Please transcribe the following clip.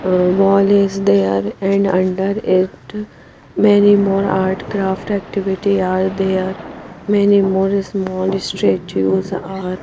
ah wall is there and under it many more art craft activity are there many more small statues are --